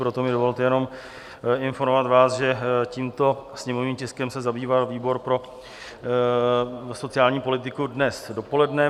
Proto mi dovolte jenom informovat vás, že tímto sněmovním tiskem se zabýval výbor pro sociální politiku dnes dopoledne.